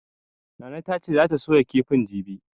Nana ta ce zata soya kifin jibi.